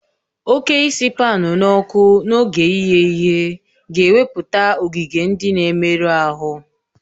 Oke isi paan n'ọkụ n'oge ighe ihe ga-ewepụta ogige ndị na-emerụ ahụ